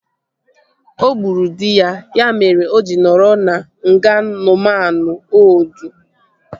O gburu dị ya, ya mere o ji nọrọ na nga Nuuman Oldu